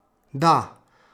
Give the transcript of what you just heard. Da?